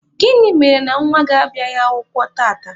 Gịnị mere na nwa gị abịaghị akwụkwọ tata?